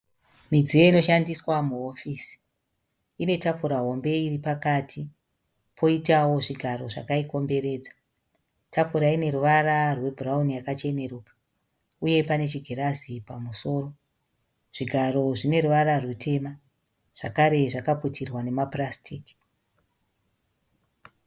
Midziyo inoshandiswa muhofisi, Ine tafura hombe iri pakati poitawo zvigaro zvakaikomberedza. Tafura ine ruvara rwebhurauni yakacheneruka uye pane chigirazi pamusoro. Zvigaro zvine ruvara rutema zvekare zvakaputirwa nemapurasitiki.